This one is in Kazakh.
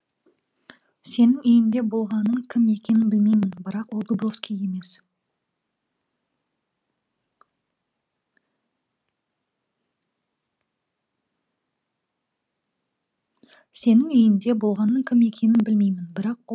сенің үйіңде болғанның кім екенін білмеймін бірақ ол дубровский емес